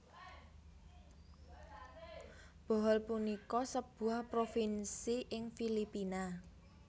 Bohol punika sebuah provinsi ing Filipina